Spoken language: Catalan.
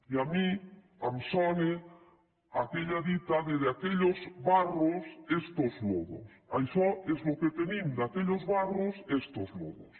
i a mi em sona aquella dita de de aquellos barros estos lodos això és el que tenim de aquellos barros estos lodos